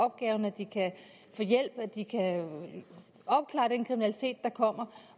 opgaven at de kan få hjælp at de kan opklare den kriminalitet der kommer